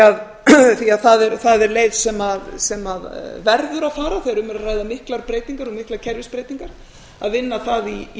að því að það er leið sem verður að fara þegar um er að ræða miklar breytingar og miklar kerfisbreytingar að vinna það í